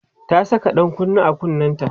ta Saka ɗan kunne a kunnenta